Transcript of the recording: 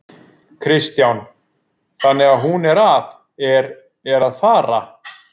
Kristján: Þannig að hún er að, er, er að fara?